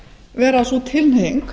vera sú tilhneiging